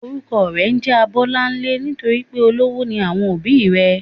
Orúkọ rè njé Abólánlé nítorípé olówó ni àwọn òbí i rè